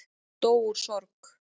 Dó úr sorg